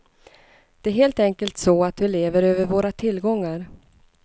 Det är helt enkelt så att vi lever över våra tillgångar.